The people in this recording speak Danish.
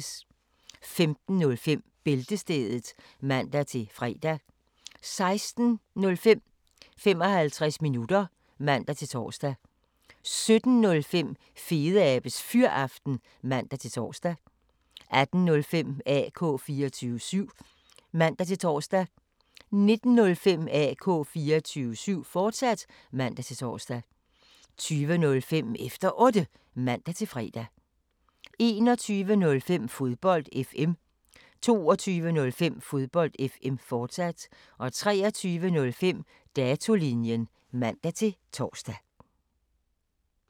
15:05: Bæltestedet (man-fre) 16:05: 55 minutter (man-tor) 17:05: Fedeabes Fyraften (man-tor) 18:05: AK 24syv (man-tor) 19:05: AK 24syv, fortsat (man-tor) 20:05: Efter Otte (man-fre) 21:05: Fodbold FM 22:05: Fodbold FM, fortsat 23:05: Datolinjen (man-tor)